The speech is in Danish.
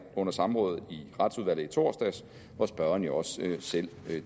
under samrådet i retsudvalget i torsdags hvor spørgeren jo selv